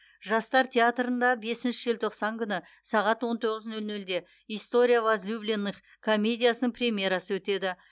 жастар театрында бесінші желтоқсан күні сағат он тоғыз нөл нөлде история возлюбленных комедиясының премьерасы өтеді